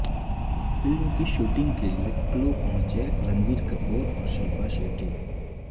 film کی shooting کیلئے کلو پہنچے رنبیر کپور اور شلپا شیٹی